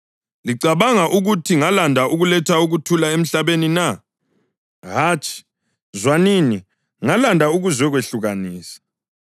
Licabanga ukuthi ngalanda ukuletha ukuthula emhlabeni na? Hatshi, zwanini, ngalanda ukuzehlukanisa.